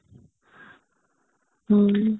ହଁ